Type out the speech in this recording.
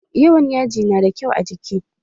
Yawan yaji na da kyau a jiki?